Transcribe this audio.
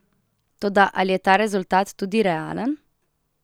Toda ali je ta rezultat tudi realen?